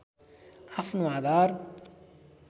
आफ्नो आधार